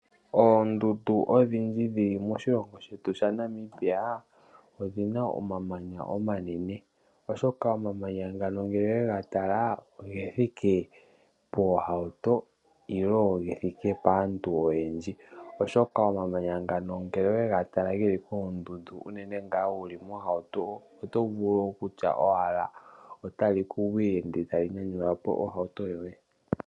Oondundu odhindji dhili moshilongo shetu shaNamibia, odhi na omamanya omanene. Oshoka omamanya ngano ngele owe ga tala oge thike poohauto nenge ge thike paantu oyendji oshoka omamanya ngano ngele owe ga tala geli moondundu unene ngaa wu li moohauto oto vulu okutya owala otali ku gwile ndele tali nyanyula po ohauto yoye.